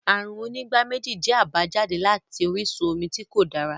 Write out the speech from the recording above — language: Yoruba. Àrùn onígbáméjì jẹ́ àbájáde láti orísun omi tí kò dára